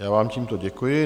Já vám tímto děkuji.